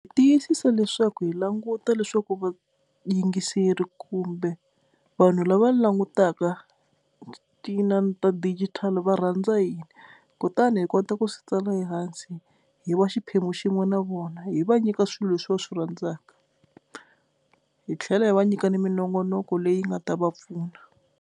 Tiyisisa leswaku hi languta leswaku va yingiseri kumbe vanhu lava langutaka ti inani ta digital va rhandza yini kutani hi kota ku swi tsala ehansi hi va xiphemu xin'we na vona hi va nyika swilo leswi va swi rhandzaka hi tlhela hi va nyika na minongonoko leyi nga ta va pfuna.